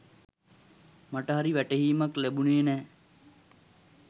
මට හරි වැටහීමක් ලැබුණේ නෑ.